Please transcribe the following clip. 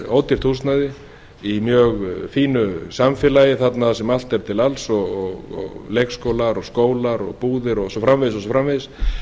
ódýrt húsnæði í mjög fínu samfélagi þarna sem allt er til alls og leikskólar skólar búðir og svo framvegis